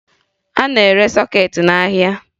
A na-ere sọkeetị n'ahịa